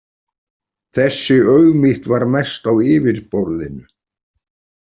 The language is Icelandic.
Þessi auðmýkt var mest á yfirborðinu.